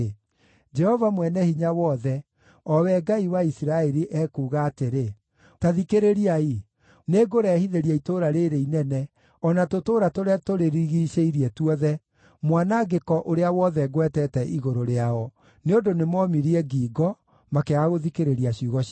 “Jehova Mwene-Hinya-Wothe, o Wee Ngai wa Isiraeli, ekuuga atĩrĩ, ‘Ta thikĩrĩriai! Nĩngũrehithĩria itũũra rĩĩrĩ inene, o na tũtũũra tũrĩa tũrĩrigiicĩirie tuothe mwanangĩko ũrĩa wothe ngwetete igũrũ rĩao, nĩ ũndũ nĩmoomirie ngingo, makĩaga gũthikĩrĩria ciugo ciakwa.’ ”